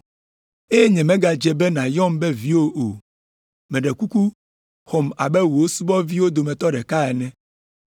eye nyemegadze be nàyɔm be viwò o, meɖe kuku xɔm abe wò subɔviwo dometɔ ɖeka ko ene.” ’